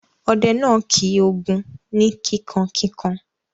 Ọdẹ náà kì Ògún ni kíkankíkan.